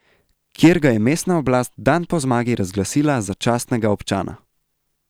Kjer ga je mestna oblast dan po zmagi razglasila za častnega občana.